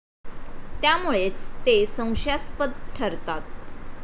त्यामुळेच ते संशयास्पद ठरतात.